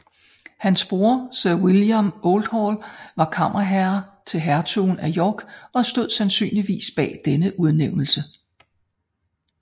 Hans bror Sir William Oldhall var kammerherre til hertugen af York og stod sandsynligvis bag denne udnævnelse